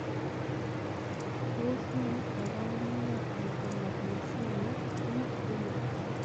Tos nee koborunoikab Hypomagnesemia 2, renal?